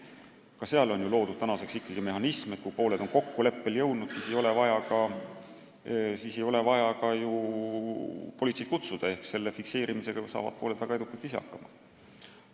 Ka selleks puhuks on loodud mehhanism, et kui pooled on kokkuleppele jõudnud, siis ei ole vaja politseid kohale kutsuda, juhtunu fikseerimisega saavad asjaosalised väga edukalt ise hakkama.